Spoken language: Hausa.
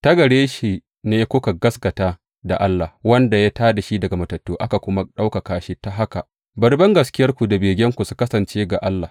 Ta gare shi ne kuka gaskata da Allah, wanda ya tā da shi daga matattu, aka kuma ɗaukaka shi, ta haka bari bangaskiyarku da begenku su kasance ga Allah.